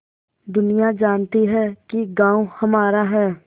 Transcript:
दुनिया जानती है कि गॉँव हमारा है